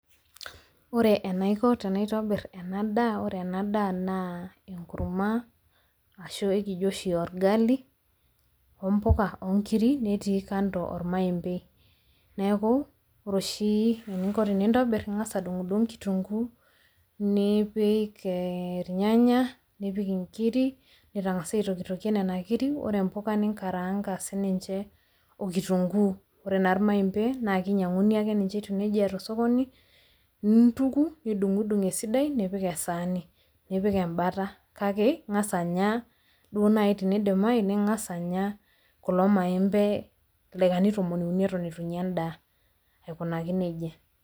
Ore enaiko tenaitobir ena daa, ore ena daa naa enkurma ashu ekijo oshi orgali , ompuka , onkiri , netii kando ormaembei. Niaku ore oshi eninko tenintobir , ingas adungdung kituguu, nipik irnyanya, nipik inkir, nitangasa aitokitokie nena kiri, ore mpuka ninkaranka sininche okitunguu. Ore naa irmaembe naa kinyianguni ake ninche etiu nejia tosokoni, nintuku , nidungdung esidai nipik esaani, nipik embata kake ingas anya duo naji tenidimayu, ing'as anya kulo maembe, illdaikani tomon uni eton itu inya endaa aikunaki nejia.